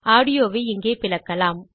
audio வை இங்கே பிளக்கலாம்